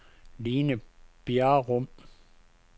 Line Bjerrum